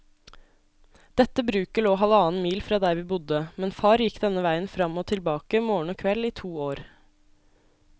Dette bruket lå halvannen mil fra der vi bodde, men far gikk denne veien fram og tilbake morgen og kveld i to år.